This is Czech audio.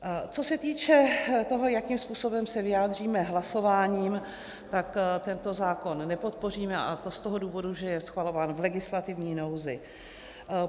Co se týče toho, jakým způsobem se vyjádříme hlasováním, tak tento zákon nepodpoříme, a to z toho důvodu, že je schvalován v legislativní nouzi.